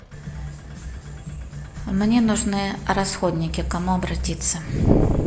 мне нужны расходники к кому обратиться